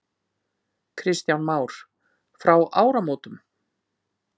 Kristján Már: Frá áramótum?